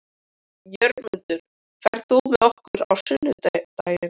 Jörmundur, ferð þú með okkur á sunnudaginn?